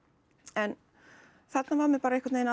en þarna var mér einhvern veginn